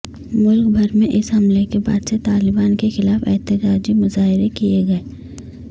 ملک بھر میں اس حملے کے بعد سے طالبان کے خلاف احتجاجی مظاہرے کیے گئے